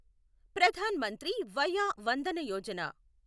Pradhan Mantri Vaya Vandana Yojana